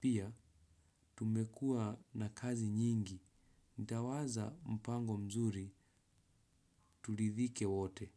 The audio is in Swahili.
pia. Tumekua na kazi nyingi. Nitawaza mpango mzuri turidhike wote.